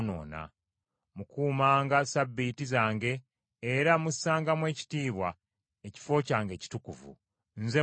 “Mukuumanga Ssabbiiti zange era mussangamu ekitiibwa ekifo kyange ekitukuvu. Nze Mukama .